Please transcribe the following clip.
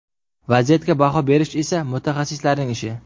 Vaziyatga baho berish esa mutaxassislarning ishi.